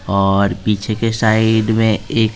और पीछे के साइड में एक --